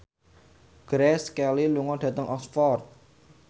Grace Kelly lunga dhateng Oxford